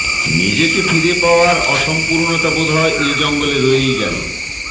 নিজেকে ফিরে পাওয়ার অসম্পূর্ণতা বোধহয় এ জঙ্গলে রয়েই গেল